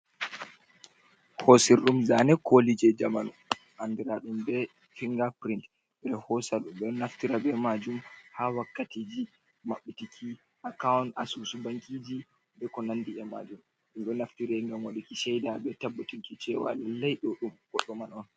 Hoosir ɗum zaane kooli jey jamanu, anndiraaɗum be finnga pirin. Ɓe ɗon hoosa ɓe ɗon naftira be maajum, haa wakkatiji maɓɓitiki akawun asusu bankiiji, be ko nanndi e maajum. Ɗum ɗo naftire ngam waɗuki cayda be tabbatunki cewa lallay ɗo ɗum goɗɗo man on.